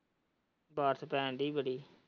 ਬਾਰਿਸ਼ ਪੈਣ ਡਇ ਬੜੀ।